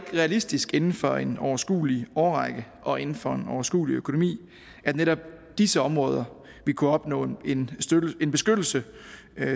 realistisk inden for en overskuelig årrække og inden for en overskuelig økonomi at netop disse områder vil kunne opnå en en beskyttelse